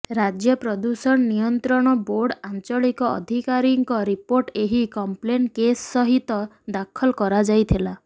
ରାଜ୍ୟ ପ୍ରଦୂଷଣ ନିୟନ୍ତ୍ରଣ ବୋର୍ଡ ଆଞ୍ଚଳିକ ଅଧିକାରୀଙ୍କ ରିପୋର୍ଟ ଏହି କଂପ୍ଲେନ୍ କେସ୍ ସହିତ ଦାଖଲ କରାଯାଇଥିଲା